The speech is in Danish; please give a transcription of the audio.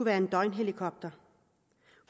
være en døgnhelikopter